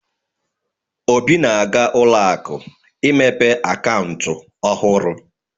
Obi na-aga ụlọ akụ imepe akaụntụ ọhurụ.